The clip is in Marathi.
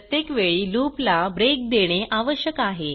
प्रत्येक वेळी लूप ला ब्रेक देणे आवश्यक आहे